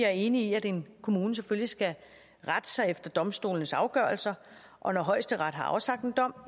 er enig i at en kommune selvfølgelig skal rette sig efter domstolenes afgørelser og når højesteret har afsagt en dom